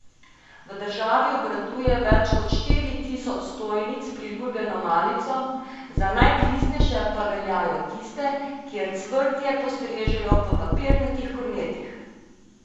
V državi obratuje več kot štiri tisoč stojnic s priljubljeno malico, za najpristnejše pa veljajo tiste, kjer cvrtje postrežejo v papirnatih kornetih.